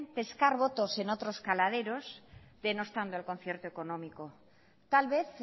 pescar votos en otros caladeros denostando el concierto económico tal vez